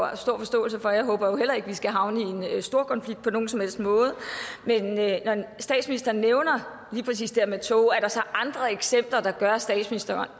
have stor forståelse for og jeg håber jo heller ikke at vi skal havne i en storkonflikt på nogen som helst måde men når statsministeren nævner lige præcis det med tog er der så andre eksempler der gør at statsministeren